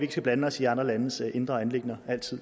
skal blande os i andre landes indre anliggender